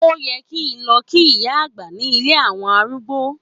Ó yẹ kí n lọ kí ìyá àgbà ní ilé àwọn arúgbó.